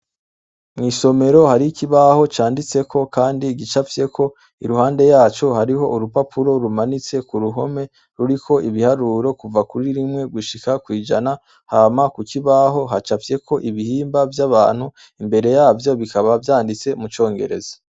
mwisomero hari kibaho canditse ko kandi gicapfye ko iruhande yacu hariho urupapuro rumanitse ku ruhome ruri ko ibiharuro kuva kuri rimwe gushika kwijana hama ku kibaho hacapfyeko ibihimba vy'abantu imbere yavyo bikaba vyanditse mu cyongereza